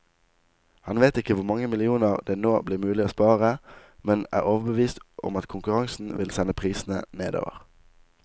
Han vet ikke hvor mange millioner det nå blir mulig å spare, men er overbevist om at konkurransen vil sende prisene nedover.